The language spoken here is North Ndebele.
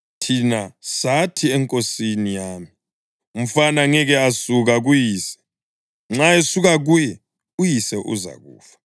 Thina sathi enkosini yami, ‘Umfana ngeke asuka kuyise; nxa esuka kuye, uyise uzakufa.’